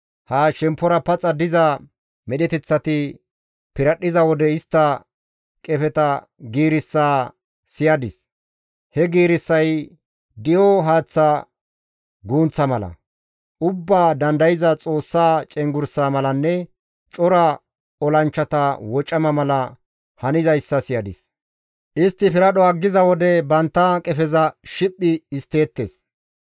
Ha shemppora paxa diza medheteththati piradhdhiza wode istta qefeta giirissa siyadis; he giirissay di7o haaththa gunththa mala, Ubbaa Dandayza Xoossa cenggurssa malanne cora olanchchata wocama mala hanizayssa siyadis. Istti piradho aggiza wode bantta qefeza shiphphi histteettes.